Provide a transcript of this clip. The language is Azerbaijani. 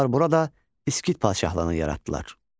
Onlar burada İskit padşahlığını yaratdılar.